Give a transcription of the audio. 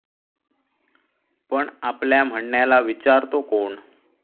पण आपल्या म्हणण्याला विचारतो कोण?